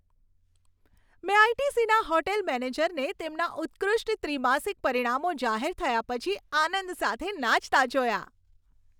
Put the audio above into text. મેં આઈ.ટી.સી.ના હોટેલ મેનેજરને તેમના ઉત્કૃષ્ટ ત્રિમાસિક પરિણામો જાહેર થયા પછી આનંદ સાથે નાચતા જોયા.